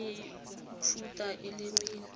le mefuta e le mene